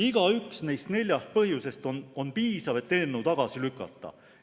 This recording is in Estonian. Igaüks neist neljast põhjusest on piisav, et eelnõu tagasi lükata.